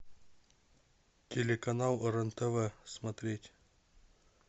телеканал рен тв смотреть